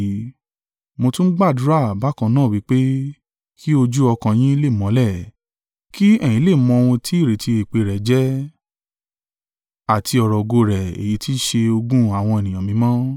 Mo tún ń gbàdúrà bákan náà wí pé kí ojú ọkàn yín lè mọ́lẹ̀; kí ẹ̀yin lè mọ ohun tí ìrètí ìpè rẹ̀ jẹ́, àti ọrọ̀ ògo rẹ̀ èyí tí í ṣe ogún àwọn ènìyàn mímọ́,